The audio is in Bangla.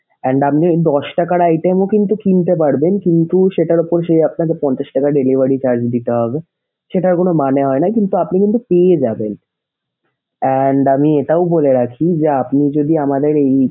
And আপনি দশ টাকার item ও কিন্তু কিনতে পারবেন। কিন্তু সেটার উপর সেই আপনাকে পঞ্চাশ টাকা delivery charge দিতে হবে। সেটার কোন মানে হয় না কিন্তু আপনি কিন্তু পেয়ে যাবেন। And আমি এটাও বলে রাখি যে আপনি যদি আমাদের এই।